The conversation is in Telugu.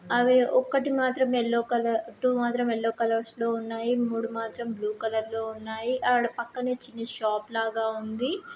అవి ఒక్కటి మాత్రం యెల్లో కలర్ టూ మాత్రం యెల్లో కలర్స్ లో ఉన్నాయి. మూడు మాత్రం బ్లూ కలర్ లో ఉన్నాయి. అండ్ ఆ పక్కనే చిన్న షాపు లాగా ఉంది..